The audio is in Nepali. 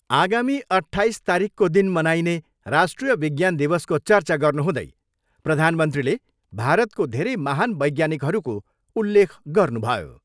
आगामी अट्ठाइस तारिखको दिन मनाइने राष्ट्रिय विज्ञान दिवसको चर्चा गर्नुहुँदै प्रधानमन्त्रीले भारतको धेरै महान वैज्ञानिकहरूको उल्लेख गर्नुभयो।